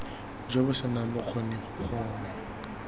jo bo senang bokgoni gongwe